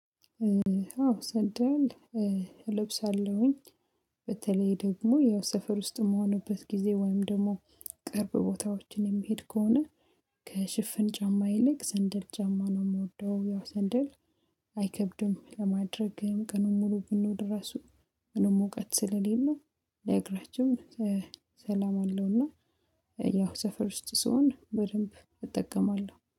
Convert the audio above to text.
አዎ ሰንደል እለብሳለሁኝ። በተለይ ደግሞ ያው ሰፈር ውስጥም እምሆንበት ጊዜ ወይም ደግሞ ቅርብ ቦታዎችን የሚሄድ ከሆነ ከሽፍን ጫማ ይልቅ ሰንደል ጫማ ነው የምወደው። ያው ሰንደል አይከብድም ለማድረግም ቅኑን ሙሉ ብሎ ድረስ ምንም እውቀት ስለሌለው ለእግረችም ሰላም አለውና። ያው ሰፈር ውስጥ ስሆን በደንብ እጠቀማለሁ